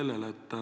Palun!